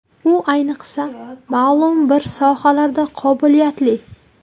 U ayniqsa ma’lum bir sohalarda qobiliyatli.